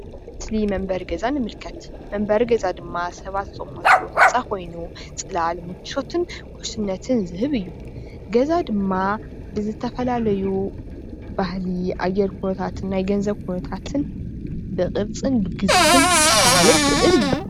ኣብ እዚ ምስሊ መንበሪ ገዛ ንምልከት፡፡ መንበሪ ገዛ ድማ ሰባት ዝቅመጥሉ ህንፃ ኮይኑ ፅላል ምቾትን ውሕስነትን ዝህብ እዩ፡፡ ገዛ ድማ ብዝተፈላለዩ ባህሊ ኣየር ኩነታት ናይ ገንዘብ ኩናታትን ብቅብፅን ብግዝፍን ክፈላለ ይክእል እዩ፡፡